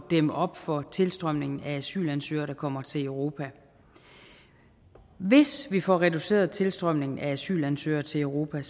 dæmme op for tilstrømningen af asylansøgere der kommer til europa hvis vi får reduceret tilstrømningen af asylansøgere til europa